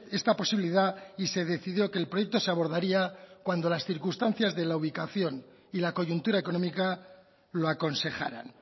esta posibilidad y se decidió que el proyecto se abordaría cuando las circunstancias de la ubicación y la coyuntura económica lo aconsejaran